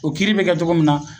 O kiiri be kɛ togo min na